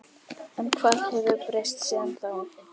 En hvað hefur breyst síðan þá?